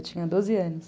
Eu tinha doze anos.